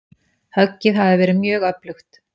Höggið hafi verið mjög öflugt.